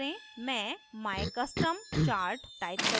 मैं mycustomchart type करुँगी